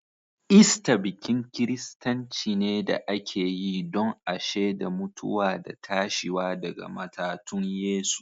Ista bikin kiristanci ne da ake yi don a sheda mutuwa da tashiwa daga matatun Yesu.